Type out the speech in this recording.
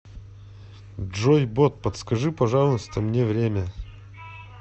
джой бот подскажи пожалуйста мне время